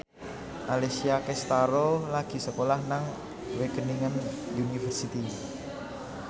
Alessia Cestaro lagi sekolah nang Wageningen University